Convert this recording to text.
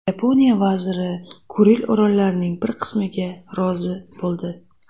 Yaponiya vaziri Kuril orollarining bir qismiga rozi bo‘ldi.